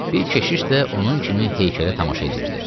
Bir keşiş də onun kimi heykələ tamaşa eləyirdi.